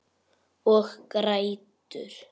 Og grætur.